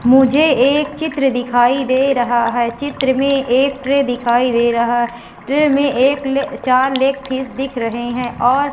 मुझे एक चित्र दिखाई दे रहा है चित्र में एक ट्रे दिखाई दे रहा है ट्रे में एक ले चार लेग पीस दिख रहे हैं और --